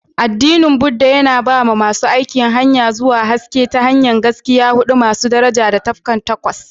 Addinin Buddah, yana ba wa masu aiki hanya zuwa haske ta hanyar Gaskiya huɗu masu daraja da Tafarki Takwas.